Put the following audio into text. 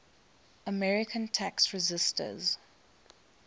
american tax resisters